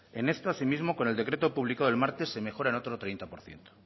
con esto asimismo con el decreto publicado el martes se mejora otro treinta por ciento